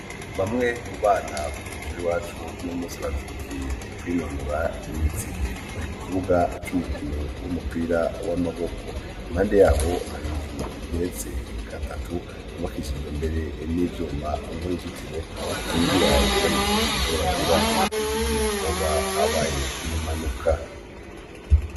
Bamwe mubana bo mw'ishure iwacu uyu munsi bazindukiye kwinonora imitsi mukibuga cumukino w'umupira wa maboko iruhande yaho hari inzu igeretse gatatu, yubakishijwe imbere n'ivyuma nuruzitiro rukigira ikibazo cose gishobora kuba mugihe hoba habaye nk'impanuka.